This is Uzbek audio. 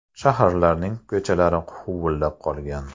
Shaharlarning ko‘chalari huvullab qolgan.